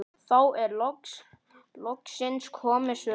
Þá er loksins komið sumar.